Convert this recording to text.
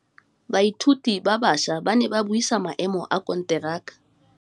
Badiri ba baša ba ne ba buisa maêmô a konteraka.